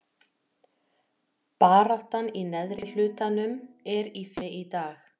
Baráttan í neðri hlutanum er í fyrirrúmi í dag.